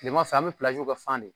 Kileman fɛ, an be kɛ fan de ye.